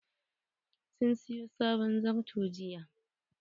Sun sayo sabon zarto jiya..